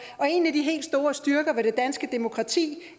og en af de helt store styrker ved det danske demokrati